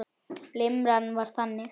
Limran var þannig: